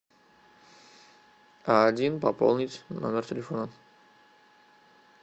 один пополнить номер телефона